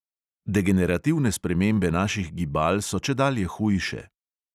Degenerativne spremembe naših gibal so čedalje hujše.